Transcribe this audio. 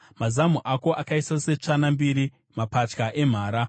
Mazamu ako akaita setsvana mbiri, mapatya emhara.